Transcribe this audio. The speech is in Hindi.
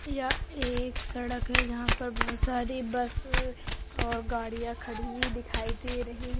यह एक सड़क है जहां पर बहुत सारी बस और गाड़ियां खड़ी हुई दिखाई दे रही है।